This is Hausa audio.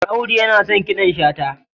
audu yana son kiɗan shata